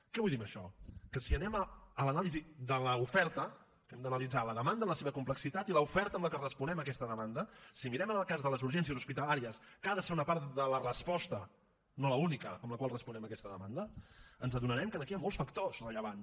què vull dir amb això que si anem a l’anàlisi de l’oferta que hem d’analitzar la demanda en la seva complexitat i l’oferta amb la que responem a aquesta demanda si mirem en el cas de les urgències hospitalàries que ha de ser una part de la resposta no l’única amb la qual responem a aquesta demanda ens adonarem que aquí hi ha molts factors rellevants